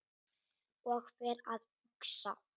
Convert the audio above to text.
Og fer að hugsa